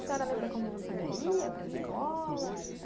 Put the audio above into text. A senhora lembra como a senhora ia para escola?